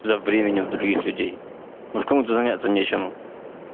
за временем других людей может кому-то заняться нечем